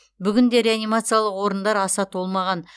бүгінде реанимациялық орындар аса толмаған